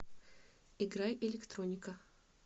играй электроника